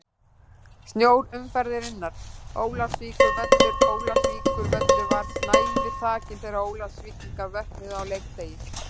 Snjór umferðarinnar: Ólafsvíkurvöllur Ólafsvíkurvöllur var snævi þakinn þegar Ólafsvíkingar vöknuðu á leikdegi.